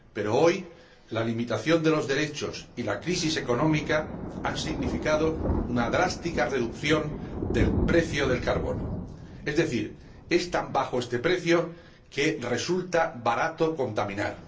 Pero hoy, la limitación de los derechos y la crisis económica han significado una drástica reducción del precio del carbono, es decir, es tan bajo este precio que resulta barato contaminar.